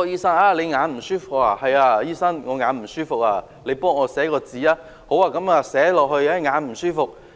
——醫生會問："你眼睛不舒服？